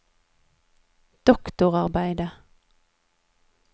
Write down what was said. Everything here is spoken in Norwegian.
doktorarbeidet